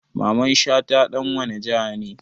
Mamman shata ɗan wane jiha ne?